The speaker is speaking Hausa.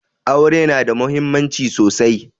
Aure na da muhimmanci sosai